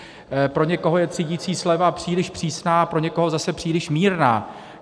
Pro někoho je třídicí sleva příliš přísná, pro někoho zase příliš mírná.